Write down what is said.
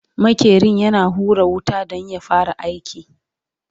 maƙerin yana hura wuta Dan ya fara aiki